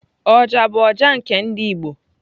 Oja bụ ọjà nke ndị igbo.